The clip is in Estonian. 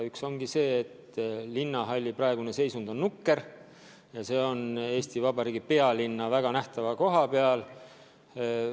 Üks on see, et linnahalli praegune seisund on nukker ja see on Eesti Vabariigi pealinnas väga nähtava koha peal.